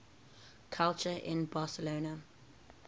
culture in barcelona